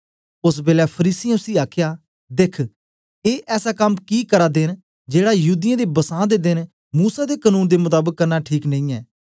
ओसबेलै फरीसियें उसी आखया देख्ख ए ऐसा कम कि करदे न जेड़ा युदियें दे बसां दे देन मूसा दे कनून दे मताबक करना ठीक नेई ऐ